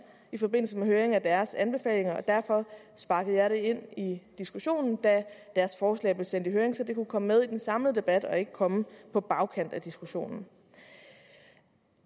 i forbindelse med høringen af deres anbefalinger derfor sparkede jeg det ind i diskussionen da deres forslag blev sendt i høring så det kunne komme med i den samlede debat og ikke komme på bagkant af diskussionen